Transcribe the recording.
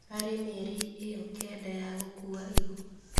Harĩ mĩeri ĩyo kenda ya gũkuua ihu